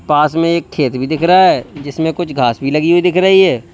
पास में एक खेत भी दिख रहा है जिसमें कुछ घास भी लगी हुई दिख रही है।